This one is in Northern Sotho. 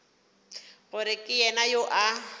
gore ke yena yo a